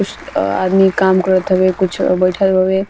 कुछ आदमी काम करत हवे कुछ बइठल हवे।